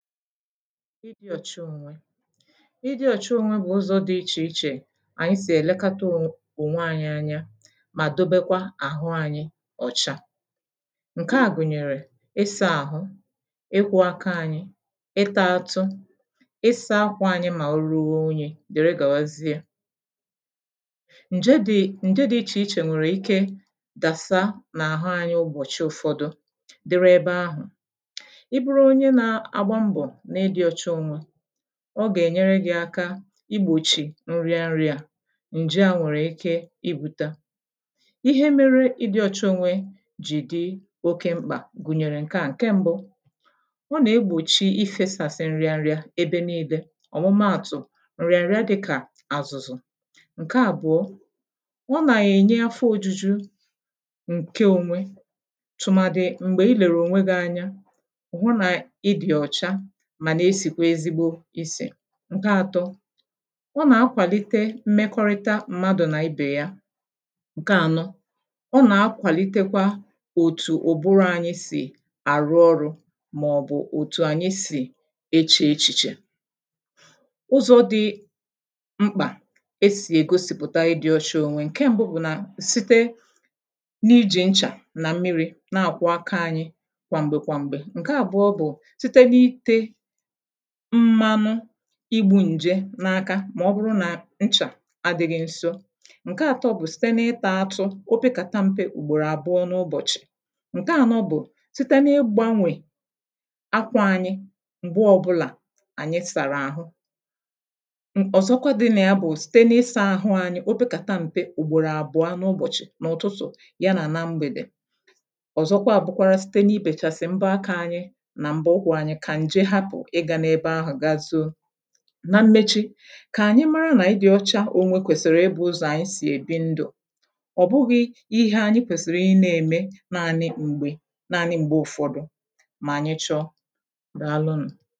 Idi ọ̀cha ònwe; ịdị ọ̀cha ònwe bụ̀ ụzọ̇ dị ichè ichè ànyị sì èlekata ow ònwe anyị anya mà dobekwa àhụ anyị ọcha. Nke à gụ̀nyèrè; ị sȧ ȧhụ,̇ ịkwụ̇ aka anyị, ịtȧ ȧtụ,̇ ị sȧ ȧkwȧ anyị mà o ruo unyi dere gàwazịe. Nje dị, ǹje dị ichè ichè nwèrè ike dàsà nà àhụ anyị ụbọ̀chị ụ̀fọdụ dịrị ebe ahụ̀. I bụrụ onye na-agba mbo ịdị ọ̀cha ònwe, ọ gà-ènyere gị̇ aka igbòchì nriria ǹje aha nwèrè ike ibu̇ta. Ihe mere ịdị̇ ọcha onwe jì di oke mkpà gùnyèrè ǹke a; Nke mbu, ọ nà-egbòchi ifėsàsị nriaria ebe niilė. ọ̀mụmụ àtụ̀ ǹriaria dịkà àzụ̀zụ̀. Nke àbụọ, ọ nà-ènye afọ ojuju ǹke onwe tụmadị m̀gbè i lèrè ònwe gị anya hu na ịdị ọ̀cha mànà esìkwe ezigbo isì. Nke atọ, ọ nà-akwàlite mmekọrịta mmadụ̀ nà ibè ya. Nke ànọ, ọ nà-akwàlitekwa òtù ụ̀bụrụ anyị sì àrụ ọrụ̇ màọ̀bụ̀ òtù anyị sì eche echìche. ụzọ̇ dị m mkpà e sì ègosìpụ̀ta ịdị̇ ọcha ònwe; Nke mbụ bụ̀ nà site n’ijì nchà nà mmiri̇ na-àkwụ aka anyị kwà m̀gbè kwà m̀gbè. Nke àbụọ bụ̀, site n’ite mmanu igbu̇ ǹje n’aka mà ọ bụrụ nà nchà adị̇ghị̇ ṅso. Nke àtọ bụ̀ site na-ịtȧ atụ opekàta mpe ùgbòrò àbụọ n’ụbọ̀chị̀. Nke ànọ bụ̀, site na-ịgbȧnwè akwȧ anyị m̀gbe ọbụlà ànyị sàrà àhụ. ọ̀zọkwa dị na ya bụ̀ site na-ịsà̇ àhụ anyị opė kà ta m̀pe ùgbòrò àbụọ n’ụbọ̀chị̀, n’ụ̀tụtụ̀ ya nà na mgbèdè. ọ̀zọkwa àbụkwara site na-ibèchàsị̀ m̀bọ aka anyị nà m̀bọ ukwụ̇ anyị kà ǹje hapụ̀ I ga-ebe ahụ ga zoo. Na mmechi kà ànyị mara nà ịdị ọcha ò nwe kwèsìrì ị bụ̇ ụzọ̀ ànyị sì èbi ndụ̀ ọ̀ bụghị̇ ihe anyị kwèsìrì ị na-ème naanị m̀gbè naanị m̀gbè ụ̀fọdụ mà ànyị chọọ. Dàalụ nù!